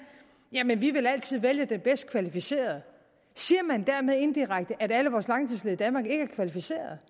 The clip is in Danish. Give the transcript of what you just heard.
jamen vi vil altid vælge den bedst kvalificerede siger man dermed indirekte at alle vores langtidsledige i danmark ikke er kvalificerede